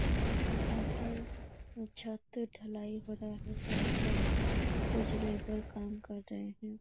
यहाँ पर एक छत ढलाई हो रहा है जहाँ पर कुछ लेबर काम कर रहे है ।